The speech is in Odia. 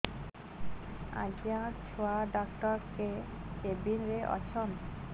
ଆଜ୍ଞା ଛୁଆ ଡାକ୍ତର କେ କେବିନ୍ ରେ ଅଛନ୍